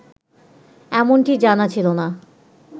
এমনটি জানা ছিল না